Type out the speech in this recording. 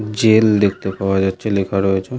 Jail দেখতে পাওয়া যাচ্ছে লেখা রয়েছে ।